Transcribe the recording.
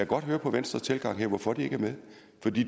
godt høre på venstres tilgang her hvorfor de ikke er med